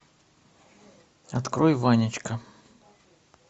открой ванечка